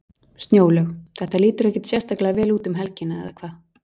Snjólaug, þetta lítur ekkert sérstaklega vel út um helgina, eða hvað?